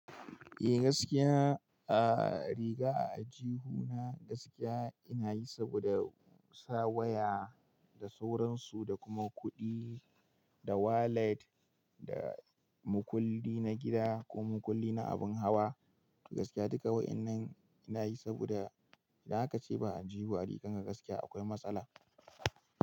Eh gaskiya, a riga a aljihuna gaskiya ina yi saboda sa waya da sauransu da kuma kuɗi da wallet da makulli na gida ko makulli na abun hawa. Gaskiya duka wa'annan ina yi saboda idan haka ace ba a aljihu a riga ka gaskiya akwai matsala.